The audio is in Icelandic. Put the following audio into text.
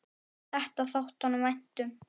Þetta þótti honum vænt um.